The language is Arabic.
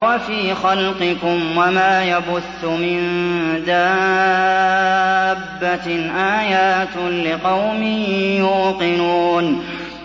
وَفِي خَلْقِكُمْ وَمَا يَبُثُّ مِن دَابَّةٍ آيَاتٌ لِّقَوْمٍ يُوقِنُونَ